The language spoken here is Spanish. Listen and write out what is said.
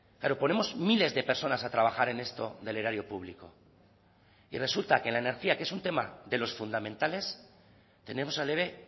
pero ponemos miles de personas a trabajar en esto del erario público y resulta que la energía que es un tema de los fundamentales tenemos al eve